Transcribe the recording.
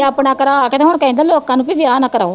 ਤੇ ਆਪਣਾ ਕਰਾ ਕੇ ਤੇ ਹੁਣ ਕਹਿੰਦਾ ਵੀ ਲੋਕਾਂ ਨੂੰ ਵੀ ਵਿਆਹ ਨਾ ਕਰਾਓ